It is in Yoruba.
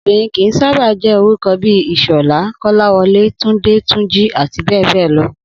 Obìnrin kì í sábà jé̩ orúko̩ bí i Ìs̩ò̩lá, Kó̩láwo̩lé, Túndé, Túnjí, àti bé̩è̩ lo̩